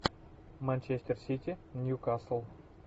манчестер сити ньюкасл